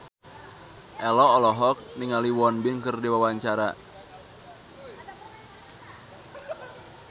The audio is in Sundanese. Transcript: Ello olohok ningali Won Bin keur diwawancara